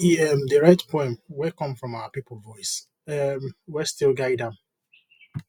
he um dey write poem wey come from our people voice um wey still guide am